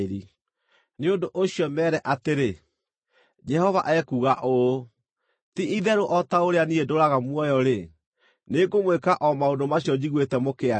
Nĩ ũndũ ũcio meere atĩrĩ, ‘Jehova ekuuga ũũ: Ti-itherũ o ta ũrĩa niĩ ndũũraga muoyo-rĩ, nĩ ngũmwĩka o maũndũ macio njiguĩte mũkĩaria.